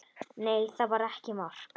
Nei, það var ekki mark.